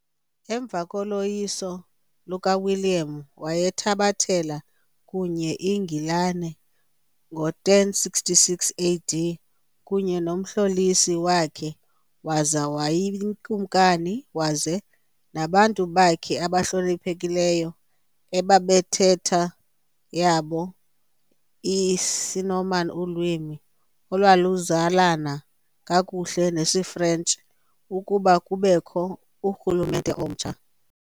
Emva koloyiso lukaWilliam wayithabathela kuye iNgilane ngo1066 AD kunye nomlhosi wakhe waza wabayikumkani, weza nabantu bakhe abahloniphekileyo, ababentetho yabo isisiNorman, ulwimi olwaluzalana kakhulu nesiFrentshi, ukuba lubekho kurhulumente omtsha.